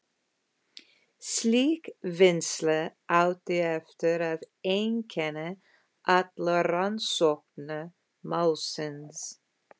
Slík vinnsla átti eftir að einkenna alla rannsókn málsins.